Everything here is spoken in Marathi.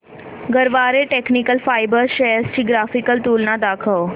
गरवारे टेक्निकल फायबर्स शेअर्स ची ग्राफिकल तुलना दाखव